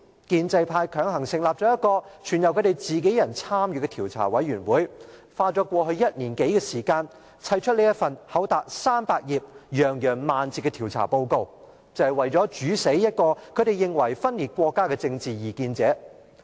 建制派強行成立了全由自己人參與的調查委員會，花了過去1年多的時間，堆砌出這份厚達300頁、洋洋萬字的調查報告，就是為了"煮死"一個他們認為分裂國家的政治異見者。